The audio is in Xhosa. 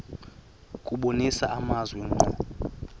kubonisa amazwi ngqo